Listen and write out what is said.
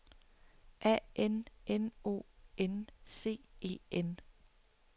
A N N O N C E N